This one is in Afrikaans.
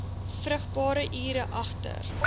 vrugbare ure agter